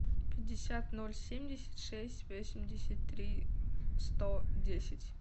пятьдесят ноль семьдесят шесть восемьдесят три сто десять